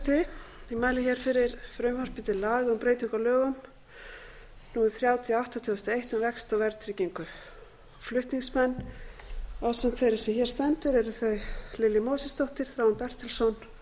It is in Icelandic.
forseti ég mæli hér fyrir frumvarpi til laga um breytingu á lögum númer þrjátíu og átta tvö þúsund og eitt um vexti og verðtryggingu flutningsmenn ásamt þeirri sem hér stendur eru lilja mósesdóttir þráinn bertelsson